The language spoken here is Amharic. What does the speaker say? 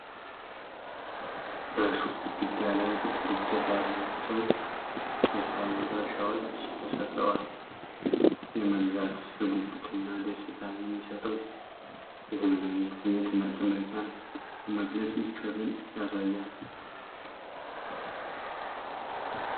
በሱቅ ግድግዳ ላይ ጥቁር እጀታ ያላቸው ቴፋል መጥበሻዎች ተሰቅለዋል። የመግዛት ጉጉት እና ደስታ የሚሰጠው የዘመናዊነት ስሜት ምርጥ ምርጫን በመግለጽ ምቾትን ያሳያል።